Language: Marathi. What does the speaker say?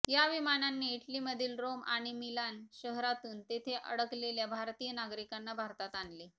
या विमानांनी इटलीमधील रोम आणि मिलान शहरातून तेथे अडकलेल्या भारतीय नागरिकांना भारतात आणले